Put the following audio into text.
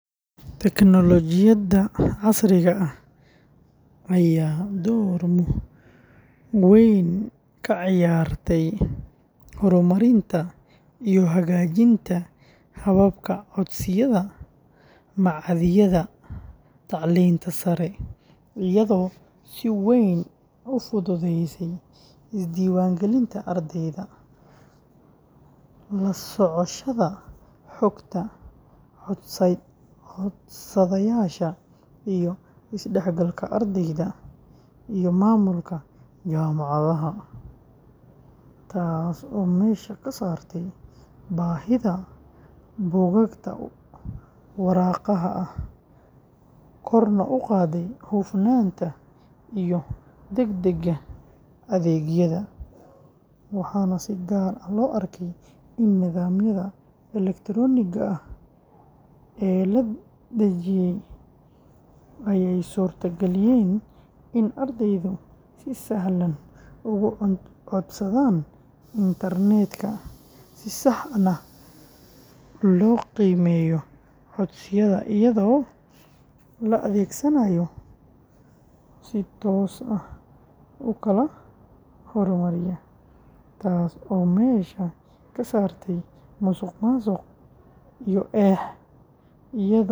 Tignoolajiyada casriga ah ayaa door weyn ka ciyaartay horumarinta iyo hagaajinta hababka codsiyada machadyada tacliinta sare, iyadoo si weyn u fududeysay isdiiwaangelinta ardayda, la socoshada xogta codsadayaasha, iyo isdhexgalka ardayda iyo maamulka jaamacadaha, taasoo meesha ka saartay baahida buugaagta waraaqaha ah, korna u qaaday hufnaanta iyo degdega adeegyada, waxaana si gaar ah loo arkay in nidaamyada elektaroonigga ah ee la dejiyay ay suurtageliyeen in ardaydu si sahlan ugu codsadaan internet-ka, si sax ahna loo qiimeeyo codsiyada iyadoo la adeegsanayo si toos ah u kala hormariya, taas oo meesha ka saartay musuqmaasuq iyo eex.